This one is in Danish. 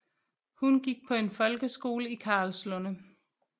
Hun gik på en folkeskole i Karlslunde